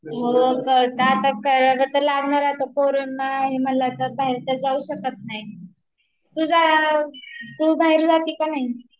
हो कळतात , आता करावे तर लागणार कोरोना आहे म्हटल्यावर आता काय बाहेर तर जाऊ शकत नाही